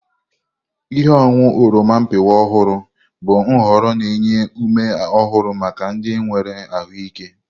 Ihe ọṅụṅụ oroma mpịakwa ọhụrụ bụ nhọrọ na-enye ume ọhụrụ maka ndị nwere ahụike.